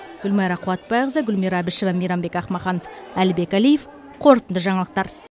гүлмайра қуатбайқызы гүлмира әбішева мейрамбек ақмахан әлібек әлиев қорытынды жаңалықтар